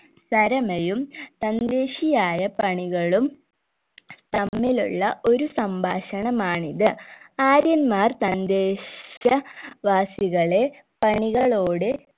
തരമയും തൻദ്ദേശിയായ പ്രണികളും തമ്മിലുള്ള ഒരു സംഭാഷണമാണിത് ആര്യന്മാർ തൻദ്ദേശ വാസികളെ പണികളോട്